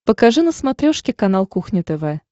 покажи на смотрешке канал кухня тв